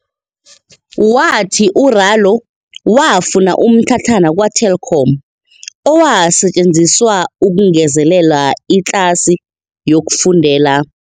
Wathi u-Ralo wafuna umtlhatlhana kwa-Telkom owasetjenziswa ukungezelela itlasi yokufundela.